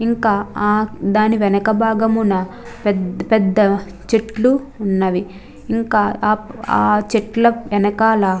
ఇక్కడ ఆ దాని వెనక భాగమున పెద్ద పెద్ద చెట్లు ఉన్నవి ఇంకా ఆ చెట్ల వెనకాల --